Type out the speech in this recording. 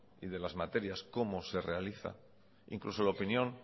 y de las materias cómo se realizan incluso la opinión